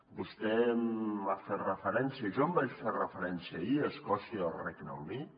vostè m’ha fet referència jo en vaig fer referència ahir a escòcia i al regne unit